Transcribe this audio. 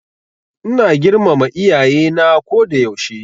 Ina girmama Iyaye na ko da yaushe.